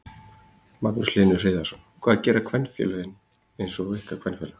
Magnús Hlynur Hreiðarsson: Hvað gera kvenfélög eins og ykkar kvenfélag?